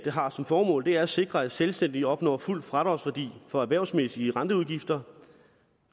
har som formål er at sikre at selvstændige opnår fuld fradragsværdi for erhvervsmæssige renteudgifter